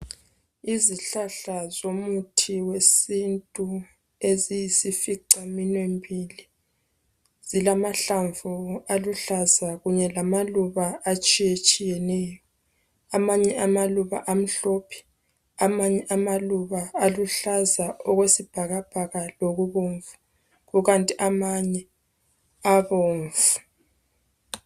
Izihlahla zomuthi wesintu eziyisificaminwembili, zilamahlamvu aluhlaza kanye lamaluba atshiyetshiyeneyo. Amanye amaluba amhlophe, amanye amaluba aluhlaza okwesibhakabhaka lokubomvu, kukanti amanye abomvu.